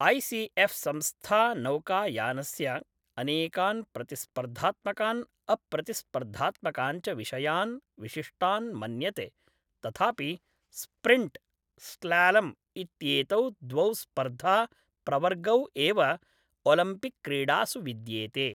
I C F संस्था नौकायनस्य अनेकान् प्रतिस्पर्धात्मकान् अप्रतिस्पर्धात्मकान् च विषयान् विशिष्टान् मन्यते, तथापि स्प्रिण्ट्, स्लालम् इत्येतौ द्वौ स्पर्धा प्रवर्गौ एव ओलिम्पिकक्रीडासु विद्येते।